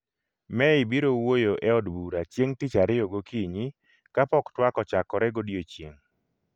May biro wuoyo e od bura chieng' tich ariyo gokinyi, kapok twak ochakore godiechieng'